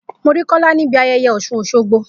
Mo rí Kola níbi ayẹyẹ Osun-Osogbo.